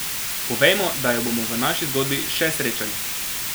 Povejmo, da jo bomo v naši zgodbi še srečali.